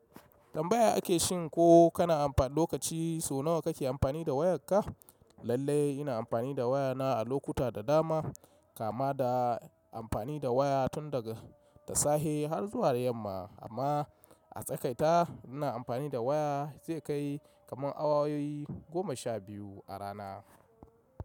Tambaya ake shin ko kana amfani lokaci so nawa kake amfani da wayarka? Lallai ina amfani da wayana a lokuta da dama, kama da amfani da waya tun daga da safe har zuwa yamma, amma a tsakaita ina amfani da waya zai kai kaman awa goma sha biyu a rana.